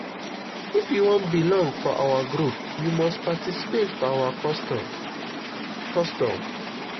if you wan belong for our group you must participate for our custom. custom.